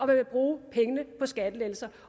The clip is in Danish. vil bruge pengene på skattelettelser